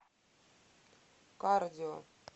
кардио